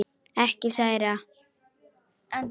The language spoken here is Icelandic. Ekki særa.